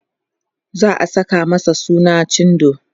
za'a Saka masa suna cindo